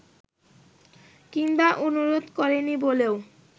কিংবা অনুরোধ করেনি বলেও